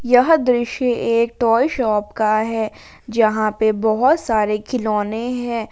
यह दृश्य एक टॉय शॉप का है जहां पर बहुत सारे खिलौने हैं।